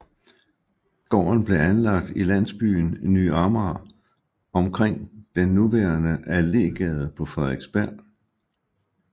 Gården blev anlagt i landsbyen Ny Amager omkring den nuværende Allégade på Frederiksberg